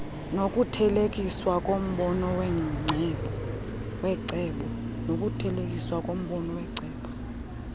nokuthelekiswa kombono wecebo